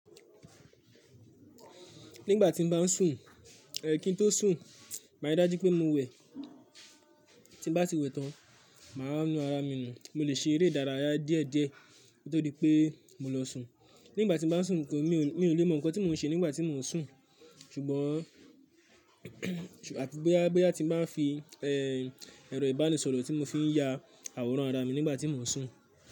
Nígbà tí n bá sùn, kí n tó sùn, màá rí dájú pé mo wẹ̀, tí bá ti wẹ̀ tán, màá nu ara mi nù. Mo lè ṣe eré ìdárayá díẹ̀ díẹ̀ koto di pé mo lọ sùn. Nígbà tí n bá sùn mi ò lè mọ nkan tí mo n ṣe nígbà tí mo n sùn, ṣùgbọ́n boya tíi ba n fi ẹrọ ibanisọrọ tí mo fi n ya àwòrán ara mi nígbà tí mo n sùn.